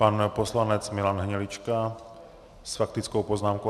Pan poslanec Milan Hnilička s faktickou poznámkou.